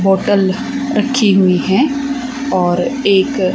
bottle रखी हुई हैं और एक--